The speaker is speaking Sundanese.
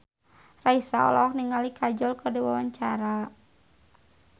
Raisa olohok ningali Kajol keur diwawancara